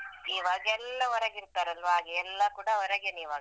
ಈವಾಗೆಲ್ಲ ಹೊರಗೆ ಇಡ್ತಾರಲ್ಲ ಹಾಗೆ ಎಲ್ಲ ಕೂಡ ಹೊರಗೆನೆ ಇವಾಗ.